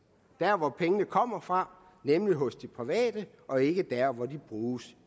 der hvor pengene kommer fra nemlig hos de private og ikke der hvor de bruges